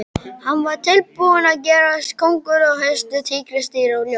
Hann var tilbúinn að gerast kónguló, hestur, tígrisdýr og ljón.